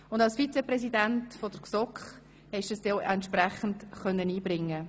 Als Vizepräsident der GSoK konntest du diese auch entsprechend einbringen.